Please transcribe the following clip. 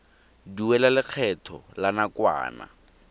duela lekgetho la nakwana